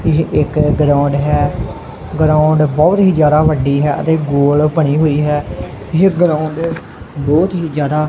ਇਹ ਇੱਕ ਗਰਾਉਂਡ ਹੈ ਗਰਾਉਂਡ ਬਹੁਤ ਹੀ ਜਿਆਦਾ ਵੱਡੀ ਹੈ ਅਤੇ ਗੋਲ ਬਣੀ ਹੋਈ ਹੈ ਇਹ ਗਰਾਊਂਡ ਦੇ ਬਤ ਹੀ ਜਿਆਦਾ--